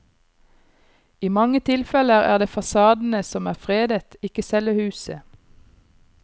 I mange tilfeller er det fasadene som er fredet, ikke selve huset.